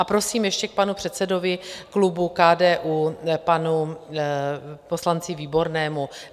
A prosím ještě k panu předsedovi klubu KDU, panu poslanci Výbornému.